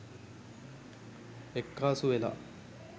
එක්කාසු වෙලා.